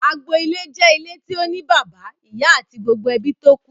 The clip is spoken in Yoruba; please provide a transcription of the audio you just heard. Agbo ilé jẹ́ ilé tí ó ní bàbá, ìyá àti gbogbo ebí tókù.